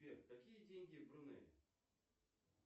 сбер какие деньги в брунее